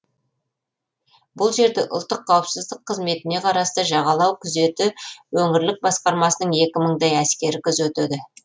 бұл жерді ұлттық қауіпсіздік қызметіне қарасты жағалау күзеті өңірлік басқармасының екі мыңдай әскері күзетеді